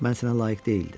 Mən sənə layiq deyildim.